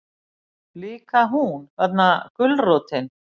Líka hún, þarna gulrótin.